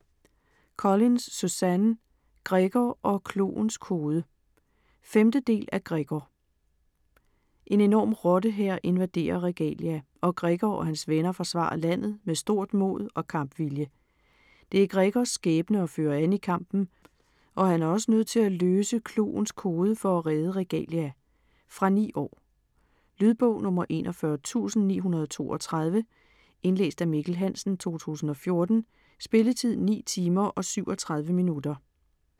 Collins, Suzanne: Gregor og kloens kode 5. del af Gregor. En enorm rottehær invaderer Regalia, og Gregor og hans venner forsvarer landet med stort mod og kampvilje. Det er Gregors skæbne at føre an i kampen, og han er også nødt til at løse kloens kode for at redde Regalia. Fra 9 år. Lydbog 41932 Indlæst af Mikkel Hansen, 2014. Spilletid: 9 timer, 37 minutter.